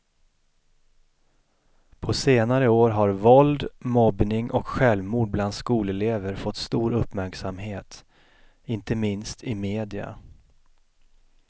På senare år har våld, mobbning och självmord bland skolelever fått stor uppmärksamhet, inte minst i media.